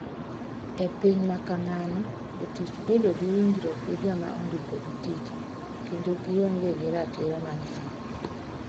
E piny ma kamano, jotich bedo gi winjruok gi joma ondikogi tich, kendo gionge gi ratiro mang'eny.